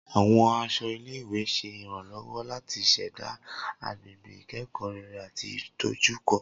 Awọn aṣọ ile-iwe ṣe iranlọwọ lati ṣẹda agbegbe ikẹkọ rere ati idojukọ.